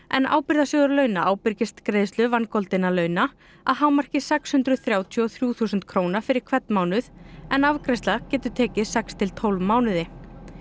en Ábyrgðasjóður launa ábyrgist greiðslu vangoldinna launa að hámarki sex hundruð þrjátíu og þrjú þúsund króna fyrir hvern mánuð en afgreiðsla getur tekið sex til tólf mánuði